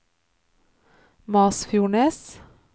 Masfjordnes